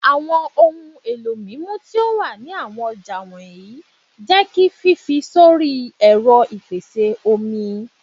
Awọn ohun elo mimu ti o wa ni awọn ọja wọnyi jẹ ki fifi sori ẹrọ ipese omi